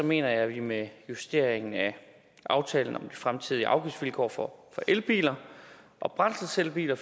mener jeg at vi med justeringen af aftalen om de fremtidige afgiftsvilkår for elbiler og brændselscellebiler